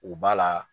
U b'a la